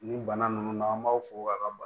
Ni bana ninnu n'an b'aw fo k'a ka